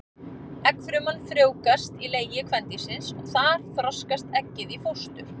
Eggfruman frjóvgast í legi kvendýrsins og þar þroskast eggið í fóstur.